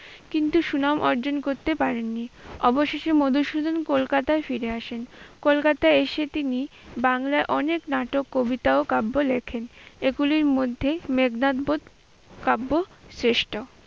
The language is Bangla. কিন্তু সুনাম অর্জন করতে পারেন নি। অবশেষে মধুসূদন কলকাতায় ফিরে আসেন। কলকাতায় এসে তিনি বাংলায় অনেক নাটক, কবিতা ও কাব্য লেখেন। এগুলির মধ্যে মেঘনাদ বধ কাব্য শ্রেষ্ঠ।